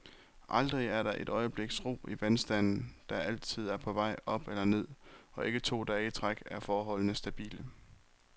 Aldrig er der et øjebliks ro i vandstanden, der altid er på vej op eller ned, og ikke to dage i træk er forholdene stabile.